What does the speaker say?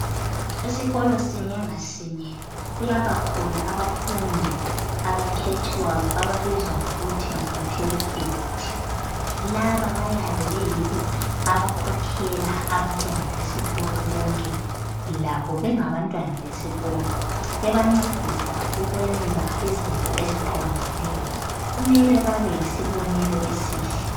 Esikolo sinye ngasinye kuyaba khona abafundi abakhethwayo ababizwa ngokuthi ngama prefect laba bayabe beyibo abakhokhela abantwana besikolo bonke labo bengabantwana besikolo bebancedisa ukwenza izinto eziqondileyo kumele babe yisibonelo esihle.